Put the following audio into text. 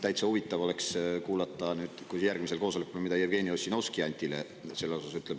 Täitsa huvitav oleks kuulata, mida Jevgeni Ossinovski järgmisel koosolekul Antile selle kohta ütleb.